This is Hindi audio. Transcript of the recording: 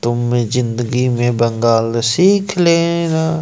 तुम में जिंदगी में बंगाल सीख लेना--